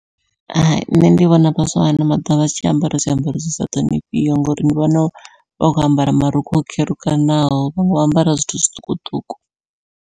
Hai nṋe ndi vhona vhaswa vha ano maḓuvha vha tshi ambara zwiambaro zwi sa ṱhonifhiho ngori ndi vhona vha khou ambara marukhu o kherukanaho vho ambara zwithu zwiṱukuṱuku.